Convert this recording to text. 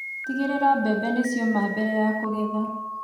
Tigĩrĩra mbembe nĩ ci oma mbere ya kũgetha